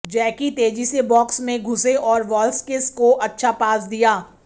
जैकी तेजी से बॉक्स में घुसे और वाल्सकिस को अच्छा पास दिया